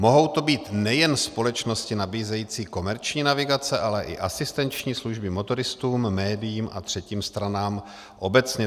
Mohou to být nejen společnosti nabízející komerční navigace, ale i asistenční služby motoristům, médiím a třetím stranám obecně.